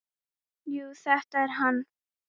Jú, þetta er hann.